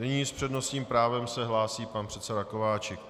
Nyní s přednostním právem se hlásí pan předseda Kováčik.